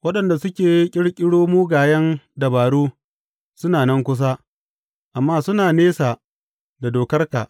Waɗanda suke ƙirƙiro mugayen dabaru suna nan kusa, amma suna nesa da dokarka.